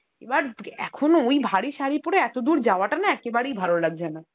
এবার, এখন ওই ভারি শাড়ি পরে এতদূর যাওয়াটা না একেবারেই ভালো লাগছে না।